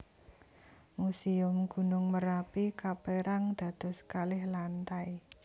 Muséum Gunung Merapi kapérang dados kalih lantai